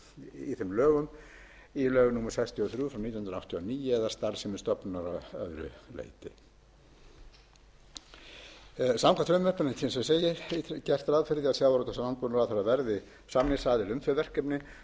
í lög númer sextíu og þrjú nítján hundruð áttatíu og níu eða starfsemi stofnunar að öðru leyti samkvæmt frumvarpinu eins og ég segi er gert ráð fyrir því að sjávarútvegs og landbúnaðarráðherra verði samningsaðili um þau verkefni sem þarna er um